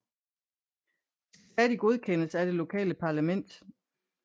De skal stadig godkendes af det lokale parlament